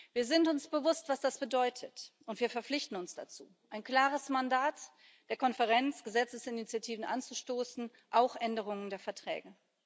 Wir sind uns bewusst, was das bedeutet, und wir verpflichten uns dazu ein klares Mandat der Konferenz, Gesetzesinitiativen anzustoßen, auch Änderungen der Verträge.